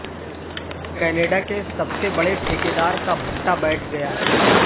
Canada کے سب سے بڑے ٹھیکیدار کا بھٹہ بیٹھ گیا